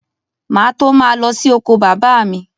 Má à tó ma lọ sí oko bàbá mj